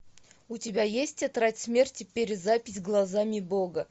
у тебя есть тетрадь смерти перезапись глазами бога